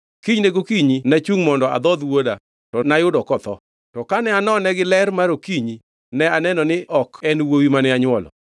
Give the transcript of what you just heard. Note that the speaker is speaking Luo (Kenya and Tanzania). Kinyne gokinyi nachungʼ mondo adhodh wuoda to nayudo kotho! To kane anone gi ler mar okinyi ne aneno ni ok en wuowi mane anywolo.”